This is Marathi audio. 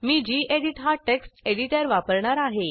मी गेडीत हा टेक्स्ट एडिटर वापरणार आहे